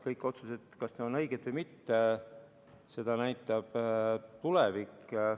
Kas need otsused on õiged või mitte, seda näitab tulevik.